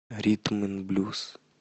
ритм н блюз